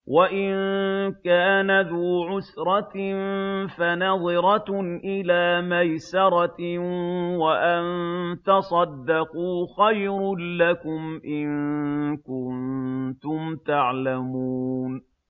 وَإِن كَانَ ذُو عُسْرَةٍ فَنَظِرَةٌ إِلَىٰ مَيْسَرَةٍ ۚ وَأَن تَصَدَّقُوا خَيْرٌ لَّكُمْ ۖ إِن كُنتُمْ تَعْلَمُونَ